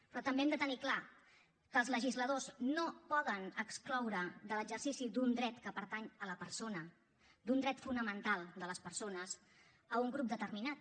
però també hem de tenir clar que els legisladors no poden excloure de l’exercici d’un dret que pertany a la persona d’un dret fonamental de les persones un grup determinat